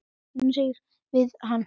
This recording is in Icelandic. Nú syrgjum við hana.